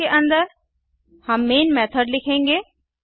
class के अंदर हम मैन मेथड लिखेंगे